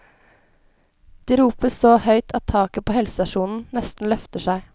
De roper så høyt at taket på helsestasjonen nesten løfter seg.